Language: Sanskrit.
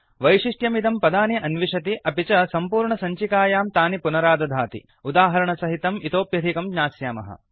वैशिष्ट्यमिदं पदानि अन्विषति अपि च सम्पूर्णसञ्चिकायां तानि पुनरादधाति उदाहरणसहितं इतोऽप्यधिकं ज्ञास्यामः